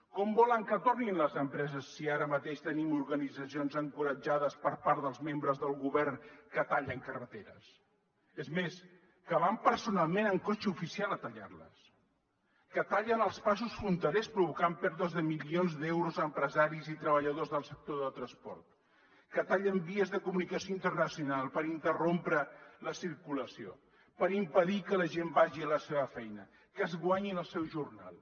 com volen que tornin les empreses si ara mateix tenim organitzacions encoratjades per part dels membres del govern que tallen carreteres és més que van personalment amb cotxe oficial a tallar les que tallen els passos fronterers i provoquen pèrdues de milions d’euros a empresaris i treballadors del sector del transport que tallen vies de comunicació internacional per interrompre la circulació per impedir que la gent vagi a la seva feina que es guanyin el seu jornal